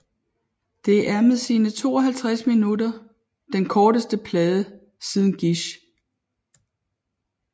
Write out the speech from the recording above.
Det er med sine 52 minutter den korteste plade siden Gish